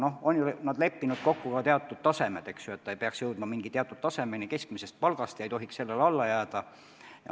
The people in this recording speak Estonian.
Noh, nad on ju kokku leppinud teatud tasemed, eks ole, et see peaks jõudma mingi teatud tasemeni keskmisest palgast ja ei tohiks sellele alla jääda.